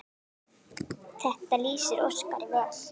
Þetta lýsir Óskari vel.